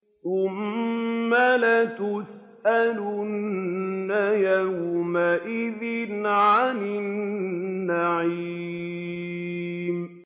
ثُمَّ لَتُسْأَلُنَّ يَوْمَئِذٍ عَنِ النَّعِيمِ